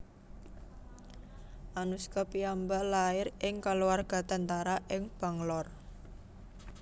Anuskha piyambak lair ing kaluarga tentara ing Bangalore